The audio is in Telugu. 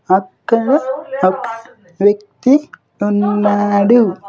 అక్కడ ఒక వ్యక్తి ఉన్నాడు.